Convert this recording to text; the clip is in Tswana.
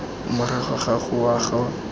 morago ga go wa ga